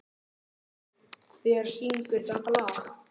Áslákur, hver syngur þetta lag?